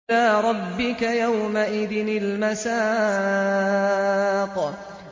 إِلَىٰ رَبِّكَ يَوْمَئِذٍ الْمَسَاقُ